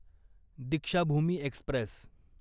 Deekshabhoomi Express